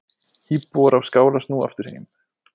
Íbúar á Skála snúa aftur heim